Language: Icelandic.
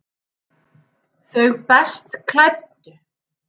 Þau best klæddu